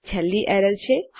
અને છેલ્લી એરર છે